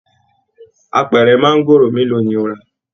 Àpẹrẹ maangoro mélòó ni o ra?